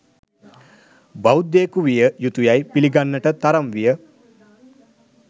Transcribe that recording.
බෞද්ධයෙකු විය යුතුයැයි පිළිගන්නට තරම් විය